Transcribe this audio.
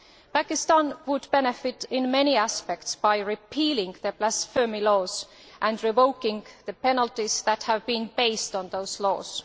Pakistan would benefit in many aspects by repealing the blasphemy laws and revoking the penalties that have been based on those laws.